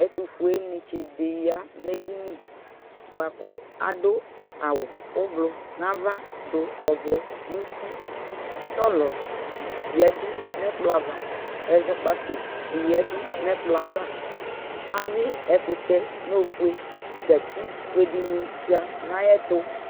Ɛtʋfuenɩtsɩ ɖɩ ƴa nʋ eɖini, aɖʋ awʋ ɛblʋ nʋ ava ,ɖʋ ɔvɛ nʋ utiSɔlɔ ƴaɖu nʋ ɛƙplɔ ava Ɛzɔƙpaƙo nɩ ƴǝɖu nʋ ɛƙplɔ avaAƴʋɩ ɛƙʋtɛ nʋ ofue, gatsi fue ɖɩnɩ bɩ ƴǝ nʋ ɛƙplɔ ava